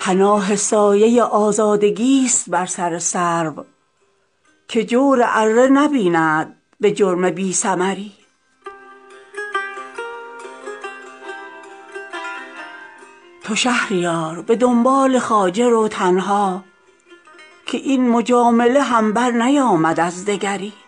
پناه سایه آزادگی است بر سر سرو که جور اره نبیند به جرم بی ثمری نه تیر آه من از حلقه هلال گذشت چرا به حلقه زندانیان نمی گذری